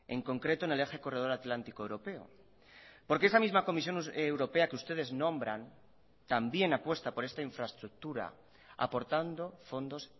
en concreto en el eje corredor atlántico europeo porque esa misma comisión europea que ustedes nombran también apuesta por esta infraestructura aportando fondos